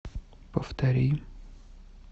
повтори